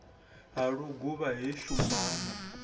ha luguvha he shumba na